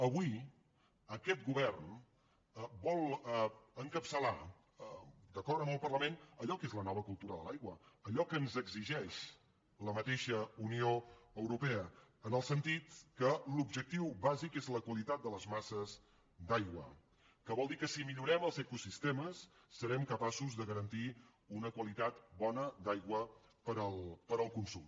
avui aquest govern vol encapçalar d’acord amb el parlament allò que és la nova cultura de l’aigua allò que ens exigeix la mateixa unió europea en el sentit que l’objectiu bàsic és la qualitat de les masses d’aigua que vol dir que si millorem els ecosistemes serem capaços de garantir una qualitat bona d’aigua per al consum